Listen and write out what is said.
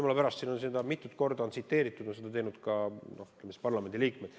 Jumala pärast, siin on seda mitu korda tsiteeritud, seda on teinud ka parlamendiliikmed.